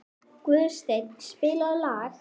Guðstein, spilaðu lag.